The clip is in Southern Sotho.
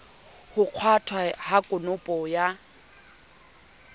ho kgwathwa ha konopo ya